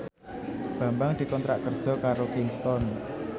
Bambang dikontrak kerja karo Kingston